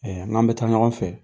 n'an bɛ taa ɲɔgɔn fɛ